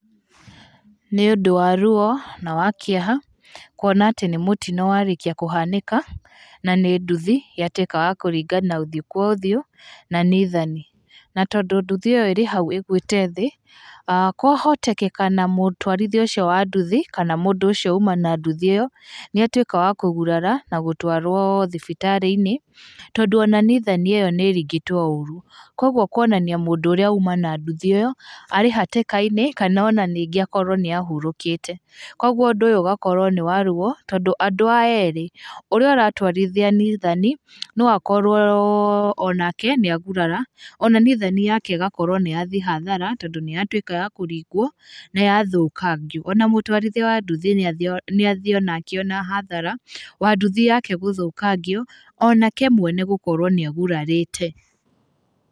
Nĩ ũndũ wa ruo na wakĩeha, kuona atĩ nĩ mũtino warĩkia kchanĩka na nĩ nduthi yatuĩka ya kũringa ũthiũ kwa ũthiũ na nithani, na tondũ nduthi ĩyo ĩrĩ hau ĩgũĩte thĩĩ, kwahotekeka na mũtwarithia ũcio wa nduthi kana mũndũ ũcio uma na nduthi ĩyo, nĩ atuĩka wa kũgurara na gũtwarwo thibitarĩ-inĩ, tondũ ona nithani ĩyo nĩ ĩringĩtwo ũru. Koguo kuonania mũndũ ũrĩa ũma na nduthi ĩyo, arĩ hatĩka-inĩ kana ningĩ akorwo nĩ ahurũkĩte, koguo ũndũ ũyũ ũgakorwo nĩ waruo tondũ andũ aya erĩ, ũrĩa ũratwarithia nithani, no akorwo onake nĩ agurara, ona nithani yake ĩgakorwo nĩ yathiĩ hathara, tondũ nĩ yatuĩka ya kũringwo, na yathũkangio, ona mũtwarithia wa nduthi nĩ athiĩ onake ona hathara ya nduthi yake gũthũkangio, onake mwene gũkorwo nĩ agurarĩte.